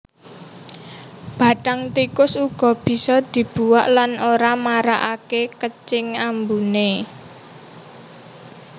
Bathang tikus uga bisa dibuak lan ora marakaké kecing ambuné